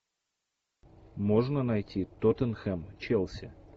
можно найти тоттенхэм челси